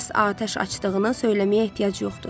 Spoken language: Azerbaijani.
Başqa atəş açdığını söyləməyə ehtiyac yoxdur.